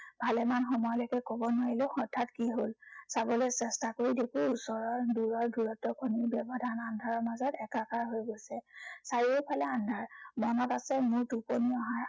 ভালেমান সময়লৈকে কব নোৱাৰিলো হঠাৎ কি হল? চাবলৈ চেষ্টা কৰি দেখো ওচৰৰ দূৰৰ দূৰত্বৰ কোনো ব্য়ৱধান আন্ধাৰৰ মাজত একাকাৰ হৈ গৈছে। চাৰিওফালে আন্ধাৰ। মনত আছে মোৰ টোপনি অহাৰ